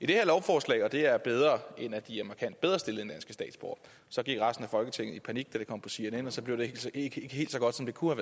det her lovforslag og det er bedre end at de er markant bedre stillet end danske statsborgere så gik resten af folketinget i panik da det kom på cnn og så blev det ikke helt så godt som det kunne